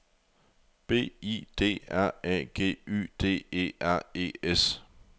B I D R A G Y D E R E S